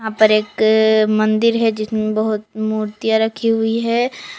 यहाँ पर एक मंदिर है जिसमें बहुत मूर्तियां रखी हुई है।